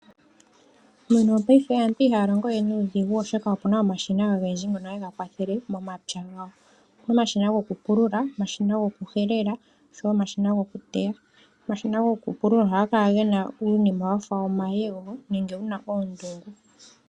Mopaife aantu ihaya longowe nuudhigu oshoka opena omashina ogendji ngono haga kwathele momapya gayo, opuna omashina gwokupulula, omashina gwokuhelela oshowo omashina gwokuteya, omashina gwokupulula ohaga kala gena uunima wafa omayego nenge wuna oondungu.